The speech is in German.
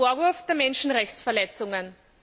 B. den Vorwurf der Menschenrechtsverletzungen?